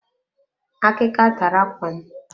Akika tara ákwà m.